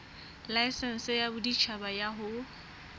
laesense ya boditjhaba ya ho